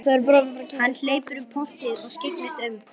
Hann hleypur um portið og skyggnist um.